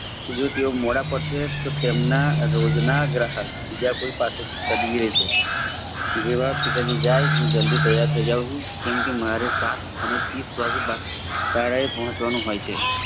જો તેઓ મોડા પડશે તો તેમના રોજના ગ્રાહક બીજાકોઇ પાસે થી ખરીદી લેસે જેવા પિતાજી જાય હું જલ્દી તયાર થઇ જાવ છું કેમ કે મારે સાત અને ત્રીસ વાગે શાળાએ પહોંચવાનું હોય છે.